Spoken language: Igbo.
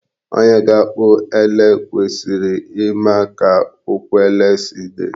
Onye ga-akpụ ele kwesịrị ịma ka ụkwụ ele si dị.